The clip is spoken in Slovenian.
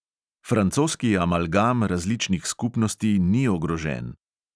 Francoski amalgam različnih skupnosti ni ogrožen.